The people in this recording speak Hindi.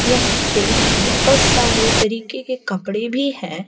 यहां पे बहोत सारे तरीके के कपड़े भी हैं।